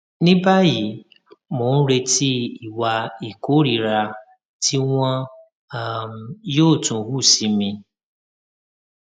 ní báyìí mò ń retí ìwà ìkórìíra tí wọn um yóò tún hù sí mi